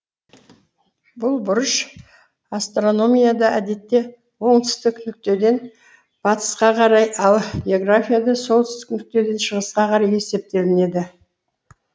бұл бұрыш астрономияда әдетте оңтүстік нүктеден батысқа қарай ал географияда солтүстік нүктеден шығысқа қарай есептелінеді